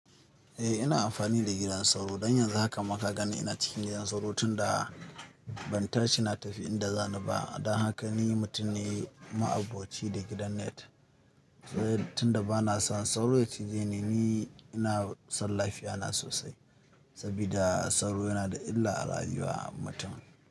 Eh ina amfani da gidan sauro don yanzu haka maka ka gani ina cikin gidan sauro tunda ban tashi na tafi inda zani ba. Don haka ni mutum ne ma'aboci da gidan net tunda bana son sauro ya cije ni. Ni ina son lafiya na sosai saboda sauro yana da illa a rayuwar mutum.